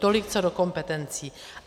Tolik co do kompetencí.